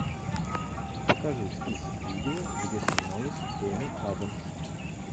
покажи список видео где снималась эми адамс